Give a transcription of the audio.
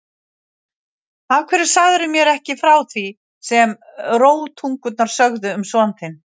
Af hverju sagðirðu mér ekki frá því sem rógtungurnar sögðu um son þinn?